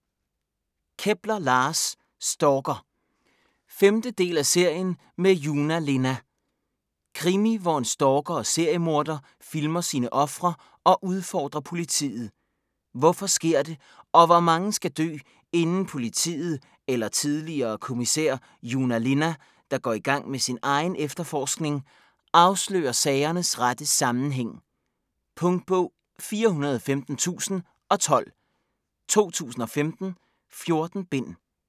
Kepler, Lars: Stalker 5. del af serien med Joona Linna. Krimi hvor en stalker og seriemorder filmer sine ofre og udfordrer politiet. Hvorfor sker det, og hvor mange skal dø, inden politiet eller tidligere kommissær Joona Linna, der går i gang med sin egen efterforskning, afslører sagernes rette sammenhæng? Punktbog 415012 2015. 14 bind.